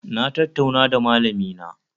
Na tattauna da malamina